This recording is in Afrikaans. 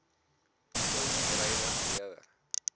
ton druiwe gelewer